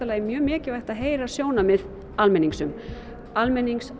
mjög mikilvægt að heyra sjónarmið almennings um almennings